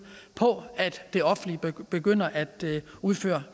på at det offentlige begynder at udføre